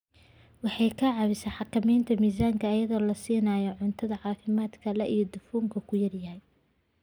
Waxay ka caawisaa xakamaynta miisaanka iyadoo la siinayo cunto caafimaad leh oo dufanku ku yar yahay.